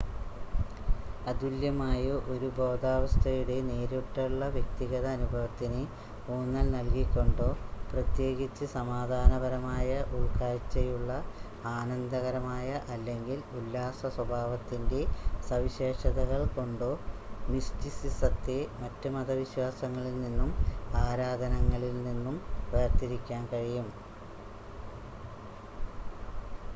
അതുല്യമായ ഒരു ബോധാവസ്ഥയുടെ നേരിട്ടുള്ള വ്യക്തിഗത അനുഭവത്തിന് ഊന്നൽ നൽകികൊണ്ടോ പ്രേത്യേകിച്ച് സമാധാനപരമായ ഉൾക്കാഴ്ച്ചയുള്ള ആനന്ദകരമായ അല്ലെങ്കിൽ ഉല്ലാസ സ്വഭാവത്തിൻ്റെ സവിശേഷതകൾ കൊണ്ടോ മിസ്റ്റിസിസത്തെ മറ്റ് മത വിശ്വാസങ്ങളിൽ നിന്നും ആരാധനകളിൽ നിന്നും വേർതിരിക്കാൻ കഴിയും